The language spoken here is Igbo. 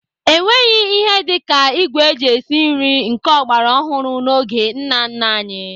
Enweghị ihe dị ka ìgwè eji esi nri nke ọgbara ọhụrụ n'oge nna nna anyị.